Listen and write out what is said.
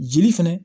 Jeli fɛnɛ